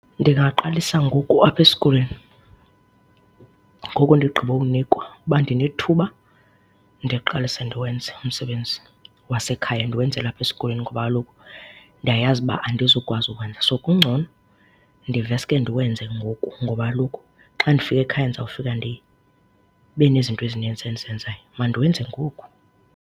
Ndingaqalisa ngoku apha esikolweni, ngoku ndigqibowunikwa, uba ndinethuba ndiqalise ndiwenze umsebenzi wasekhaya, ndiwenzela apha esikolweni ngoba kaloku ndiyayazi uba andizukwazi ukuwenza. So, kungcono ndiveske ndiwenze ngoku ngoba kaloku xa ndifika ekhaya ndizawufika ndibe nezinto ezininzi endizenzayo. Mandiwenze ngoku.